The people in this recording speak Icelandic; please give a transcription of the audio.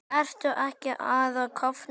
Ertu ekki að kafna?